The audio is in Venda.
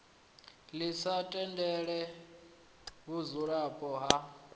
ḽi sa tendele vhudzulapo ha